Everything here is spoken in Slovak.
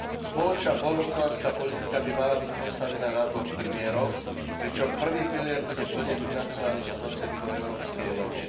Spoločná poľnohospodárska politika by mala byť postavená na dvoch pilieroch, pričom prvý pilier bude plne financovaný z prostriedkov Európskej únie.